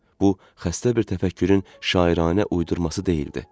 Bu xəstə bir təfəkkürün şairanə uydurması deyildi.